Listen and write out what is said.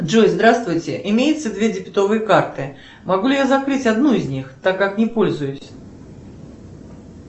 джой здравствуйте имеется две дебетовые карты могу ли я закрыть одну из них так как не пользуюсь